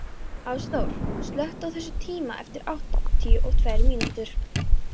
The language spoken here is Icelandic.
Ásþór, slökktu á þessu eftir áttatíu og tvær mínútur.